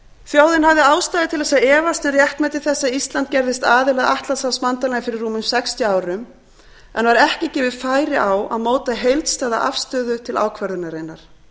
þjóðin hafði ástæðu til að efast um réttmæti þess að ísland gerðist aðili að atlantshafsbandalaginu fyrir rúmum sextíu árum en var ekki gefið færi á að móta heildstæða afstöðu til ákvörðunarinnar